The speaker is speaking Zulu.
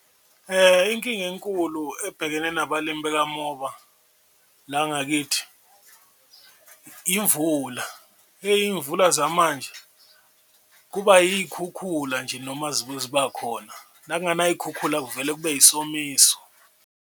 Inkinga enkulu ebhekene nabalimi bekamoba la ngakithi imvula eyi imvula zamanje kuba iy'khukhula nje, noma ziba khona nakunganay'khukhula kuvele kube isomiso.